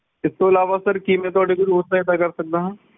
ਇਸ ਤੋਂ ਇਲਾਵਾ sir ਕੀ ਮੈਂ ਤੁਹਾਡੀ ਕੋਈ ਹੋਰ ਸਹਾਇਤਾ ਕਰ ਸਕਦਾ ਹਾਂ?